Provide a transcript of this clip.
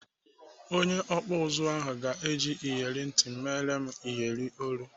Onye ọkpụ ụzụ ahụ ga-eji iyeri ntị m mere m iyeri olu.